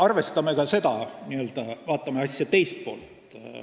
Vaatame ka asja teist poolt.